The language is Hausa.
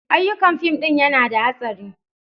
Ayyukan fim ɗin yana da hastari.